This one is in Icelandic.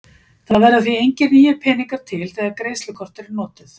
Það verða því engir nýir peningar til þegar greiðslukort eru notuð.